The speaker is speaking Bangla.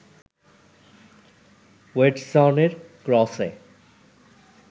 ওয়েডসনের ক্রসে